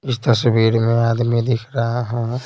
इस तस्वीर में आदमी दिख रहा है।